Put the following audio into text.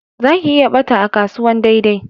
Za ki iya ɓata a kasuwan daidai